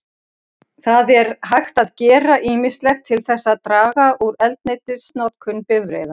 Það er hægt að gera ýmislegt til þess að draga úr eldsneytisnotkun bifreiða.